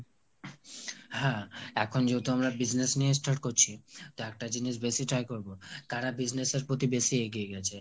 হ্যা এখন যেহেতু আমরা business নিয়ে start করছি তো একটা জিনিস বেশি try করবো - করা business এর প্রতি বেশি এগিয়ে গেছে